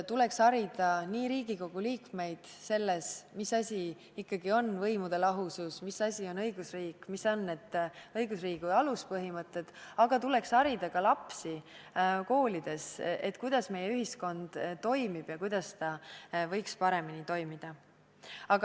Tuleks harida nii Riigikogu liikmeid selles, mis asi ikkagi on võimude lahusus, mis asi on õigusriik, mis on need õigusriigi aluspõhimõtted, aga tuleks harida ka lapsi koolides, kuidas meie ühiskond toimib ja kuidas ta võiks paremini toimida.